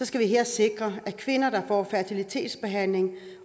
skal vi her sikre at kvinder der får fertilitetsbehandling